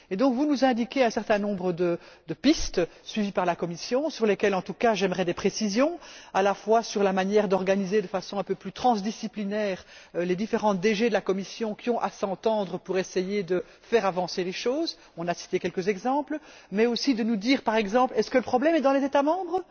Et donc, vous nous indiquez un certain nombre de pistes suivies par la Commission sur lesquelles, en tout cas, j'aimerais des précisions, à la fois sur la manière d'organiser de façon un peu plus transdisciplinaire les différentes DG de la Commission qui ont à s'entendre pour essayer de faire avancer les choses on a cité quelques exemples. Mais aussi, ce serait bien de nous dire, par exemple, si le problème est dans les États membres.